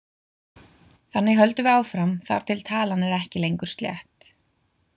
Þannig höldum við áfram þar til talan er ekki lengur slétt.